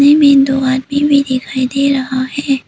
में दो आदमी भी दिखाई दे रहा है।